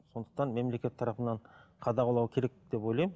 сондықтан мемлекет тарапынан қадағалау керек деп ойлаймын